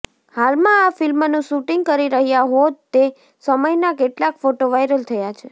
હાલમાં આ ફિલ્મનું શૂટિંગ કરી રહ્યા હોત તે સમયનાં કેટલાંક ફોટો વાયરલ થયા છે